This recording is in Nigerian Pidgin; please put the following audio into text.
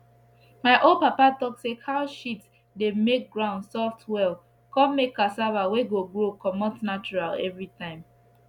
my old papa talk say cow shit dey make ground soft well con make cassava wey go grow comot natural every time